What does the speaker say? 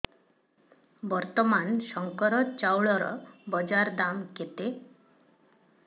ବର୍ତ୍ତମାନ ଶଙ୍କର ଚାଉଳର ବଜାର ଦାମ୍ କେତେ